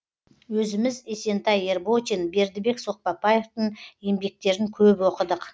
өзіміз есентай ерботин бердібек соқпақбаевтың еңбектерін көп оқыдық